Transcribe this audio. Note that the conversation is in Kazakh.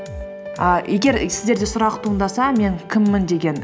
ііі егер и сіздерде сұрақ туындаса мен кіммін деген